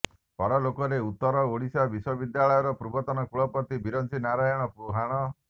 ପରଲୋକରେ ଉତ୍ତର ଓଡିଶା ବିଶ୍ୱବିଦ୍ୟାଳୟର ପୂର୍ବତନ କୁଳପତି ବିରଞ୍ଚି ନାରାୟଣ ପୁହାଣ